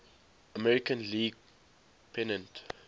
american league pennant